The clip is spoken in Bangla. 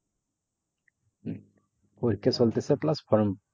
হম পরীক্ষা চলতেছে plus form